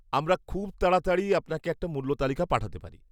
আমরা খুব তাড়াতাড়ি আপনাকে একটা মূল্য তালিকা পাঠাতে পারি।